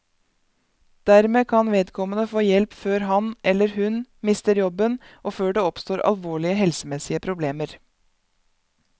Dermed kan vedkommende få hjelp før han, eller hun, mister jobben og før det oppstår alvorlige helsemessige problemer.